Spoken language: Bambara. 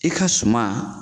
I ka suman